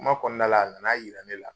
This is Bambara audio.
Kuma kɔnɔnala a nana yira ne la.